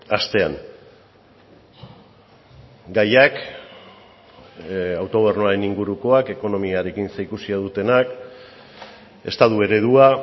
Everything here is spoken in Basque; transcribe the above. astean gaiak autogobernuaren ingurukoak ekonomiarekin zerikusia dutenak estatu eredua